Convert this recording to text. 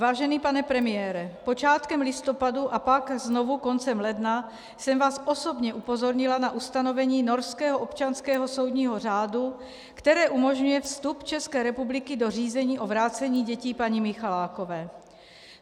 Vážený pane premiére, počátkem listopadu a pak znovu koncem ledna jsem vás osobně upozornila na ustanovení norského občanského soudního řádu, které umožňuje vstup České republiky do řízení o vrácení dětí paní Michalákové.